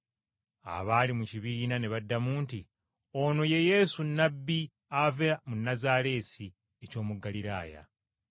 Abaali mu kibiina ne baddamu nti, “Ono ye Yesu Nnabbi ava mu Nazaaleesi eky’omu Ggaliraaya.”